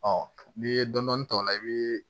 n'i ye dɔndɔni ta o la i bɛ